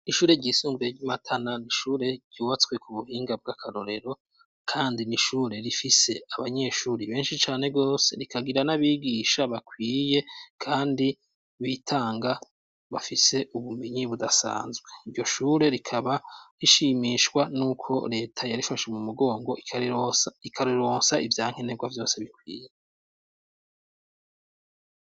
Ishure ryisumbuye ry'imatana nishure ryubatswe ku buhinga bw'akarorero, kandi nishure rifise abanyeshuri benshi cane gose rikagira n'abigisha bakwiye, kandi bitanga bafise ubumenyi budasanzwe iryo shure rikaba rishimishwa n' uko leta yarifashe mu mugongo ikariro ikaruruwonsa ivyanke nerwa vyose bikwiye.